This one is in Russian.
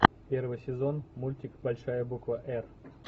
первый сезон мультик большая буква р